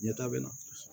Ɲɛtaga bɛ na